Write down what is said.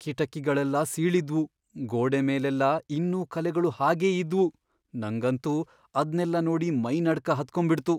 ಕಿಟಕಿಗಳೆಲ್ಲ ಸೀಳಿದ್ವು, ಗೋಡೆ ಮೇಲೆಲ್ಲ ಇನ್ನೂ ಕಲೆಗಳು ಹಾಗೇ ಇದ್ವು.. ನಂಗಂತೂ ಅದ್ನೆಲ್ಲ ನೋಡಿ ಮೈ ನಡ್ಕ ಹತ್ಕೊಂಬಿಡ್ತು.